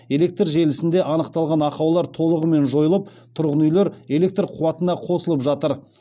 электр желісінде анықталған ақаулар толығымен жойылып тұрғын үйлер электр қуатына қосылып жатыр